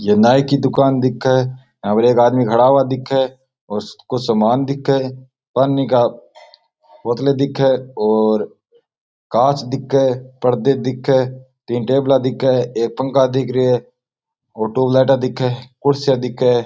यो नाइ की दूकान दिखे यहाँ पर एक आदमी खड़ा हुआ दिखे और कुछ सामान दिखे पानी की बोतला दिखे और कांच दिखे परदे दिखे तीन टेबल दिखे एक पंखा दिखे एक ट्यूबलाइट दिखे कुर्सियां दिखे।